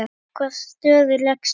Í hvaða stöðu lékst þú?